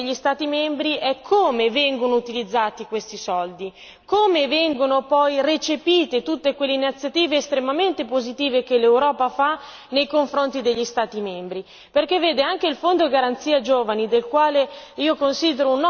Il problema che noi notiamo, soprattutto nei confronti degli Stati membri, è come vengono utilizzati questi soldi, come vengono recepite tutte quelle iniziative estremamente positive che l'Europa fa nei confronti degli Stati membri.